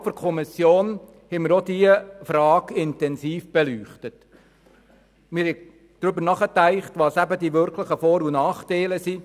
Innerhalb der Kommission haben wir auch diese Frage intensiv beleuchtet und darüber nachgedacht, welches die wirklichen Vor- und Nachteile sind.